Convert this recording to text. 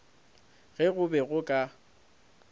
ge go be go ka